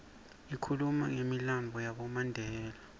ikhuluma numilandvo yabomandela